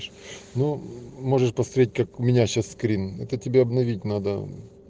ну можешь посмотреть как у меня сейчас скрин это тебе обновить надо